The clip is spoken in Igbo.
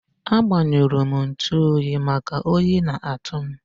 A gbanyurum ntuoyi maka oyi na atu m